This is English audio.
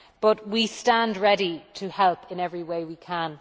However, we stand ready to help in every way we can.